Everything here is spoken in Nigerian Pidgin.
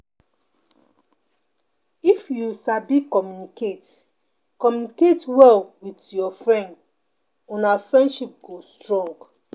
If you sabi communicate communicate well with your friend, una friendship go strong.